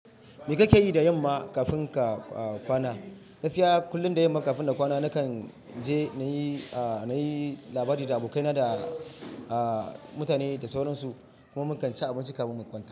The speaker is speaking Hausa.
Me kake yi da yamma kafin ka kwana? Gaskiya kullum da yamma kafin na kwana nakan je na yi, na yi labari da abokaina da mutane da sauransu kuma mu kan ci abinci kafin mu kwana.